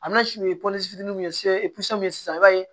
sisan i b'a ye